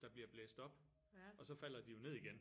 Der bliver blæst op og så falder de jo ned igen